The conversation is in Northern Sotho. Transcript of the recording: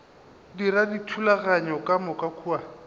dira dithulaganyo ka moka kua